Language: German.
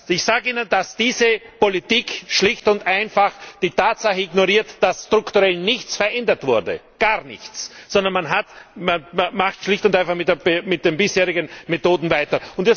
Ich sage Ihnen, dass diese Politik schlicht und einfach die Tatsache ignoriert, dass strukturell nichts verändert wurde gar nichts sondern man macht schlicht und einfach mit den bisherigen Methoden weiter!